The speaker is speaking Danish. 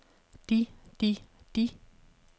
de de de